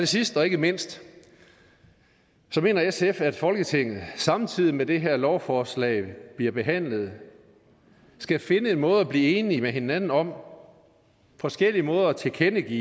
sidst og ikke mindst mener sf at folketinget samtidig med at det her lovforslag bliver behandlet skal finde en måde at blive enige med hinanden om forskellige måder at tilkendegive